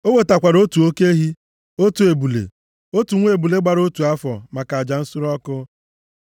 O wetakwara otu oke ehi, otu ebule, otu nwa ebule gbara otu afọ maka aja nsure ọkụ.